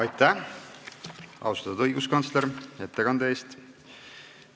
Aitäh, austatud õiguskantsler, ettekande eest!